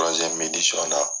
na.